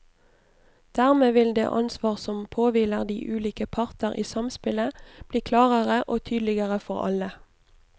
Dermed vil det ansvar som påhviler de ulike parter i samspillet, bli klarere og tydeligere for alle.